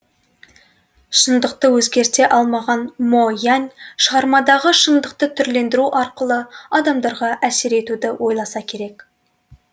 шындықты өзгерте алмаған мо янь шығармадағы шындықты түрлендіру арқылы адамдарға әсер етуді ойласа керек